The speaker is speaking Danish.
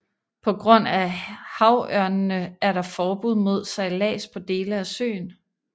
På grund af havørnene er der forbud mod sejlads på dele af søen